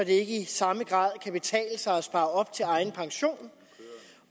det ikke i samme grad kan betale sig at spare op til egen pension